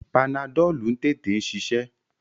Panadọ́lú ń tètè ṣiṣẹ́.